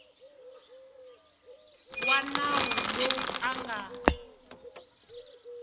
wa nawu loyi a nga